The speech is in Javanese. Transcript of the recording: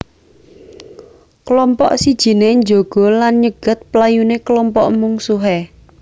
Klompok sijiné njaga lan nyegat playuné klompok mungsuhé